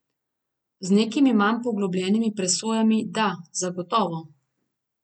Z nekimi manj poglobljenimi presojami, da, zagotovo.